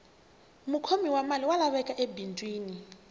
mukhomi wa mali wa laveka ebindzwini